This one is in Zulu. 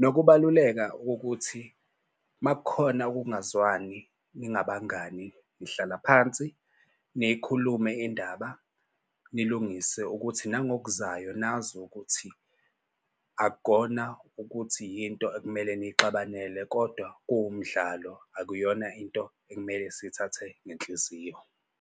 Nokubaluleka kokuthi uma kukhona ukungazwani ningabangani nihlala phansi, niyikhulume indaba, nilungise ukuthi nangokuzayo nazi ukuthi akukona ukuthi yinto ekumele nixabanele kodwa kuwumdlalo akuyona into ekumele sithathe ngenhliziyo.